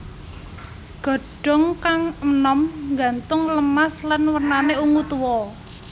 Godhong kang enom nggantung lemas lan wernane ungu tua